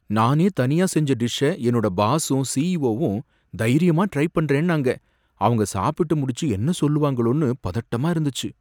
நானே தனியா செஞ்ச டிஷ்ஷ என்னோட பாசும் சிஇஓ வும் தைரியமா ட்ரை பண்றேன்னாங்க, அவங்க சாப்பிட்டு முடிச்சி என்ன சொல்லுவாங்களோனு பதட்டமா இருந்துச்சு.